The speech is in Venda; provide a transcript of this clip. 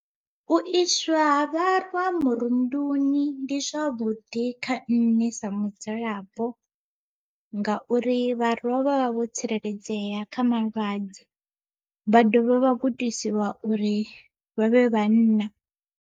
U iswa ha vharwa murunduni ndi zwavhuḓi kha nṋe sa mudzulapo ngauri vharwa vha vha vho tsireledzea kha malwadze, vha dovha vha gudisiwa uri vha vhe vhanna.